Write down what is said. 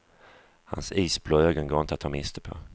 Hans isblå ögon går inte att ta miste på.